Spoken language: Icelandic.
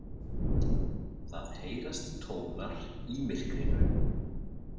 Það heyrast tónar í myrkrinu.